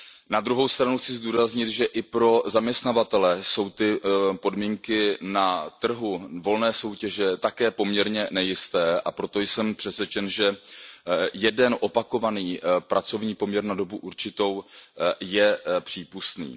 Na druhou stranu chci zdůraznit, že i pro zaměstnavatele jsou podmínky na trhu volné soutěže také poměrně nejisté, a proto jsem přesvědčen, že jeden opakovaný pracovní poměr na dobu určitou je přípustný.